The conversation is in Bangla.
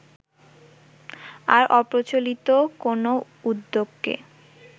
আর অপ্রচলিত কোন উদ্যোগকে